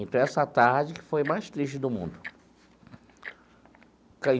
Então, essa tarde foi a mais triste do mundo.